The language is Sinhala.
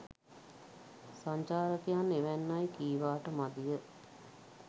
සංචාරකයන් එවන්නැයි කීවාට මදිය.